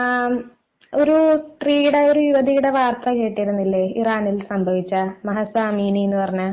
ആഹ് ഒരു സ്ത്രീയുടെ യുവതിയുടെ വാർത്ത കേട്ടിരുന്നില്ലേ ഇറാനിൽ സംഭവിച്ച പറഞ്ഞ